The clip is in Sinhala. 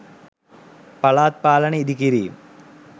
පළාත් පාලන ඉඳිකිරීම්